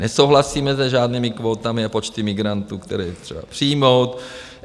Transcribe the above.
Nesouhlasíme se žádnými kvótami a počty migrantů, které je třeba přijmout.